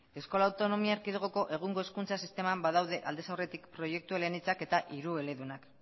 euskal autonomi erkidegoko egungo hezkuntza sisteman badaude aldez aurretik proiektu eleanitzak eta hirueledunak